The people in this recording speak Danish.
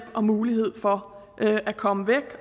og mulighed for at komme væk